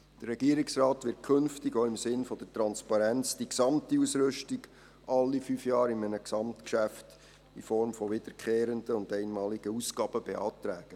Der Regierungsrat wird künftig, auch im Sinne der Transparenz, die gesamte Ausrüstung alle fünf Jahre in einem Gesamtgeschäft in Form wiederkehrender und einmaliger Ausgaben beantragen.